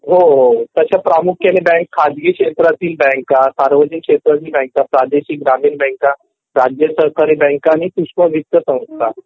तश्या प्रामुख्याने बँक खाजगी क्षत्रितील बँका सार्वजनिक क्षेत्रातील बँका प्रादेशिक ग्रामीण बँका राज्यसरकार बँका आणि पुशपवित्त संस्था